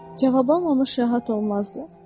cavab almamış rahat olmazdı.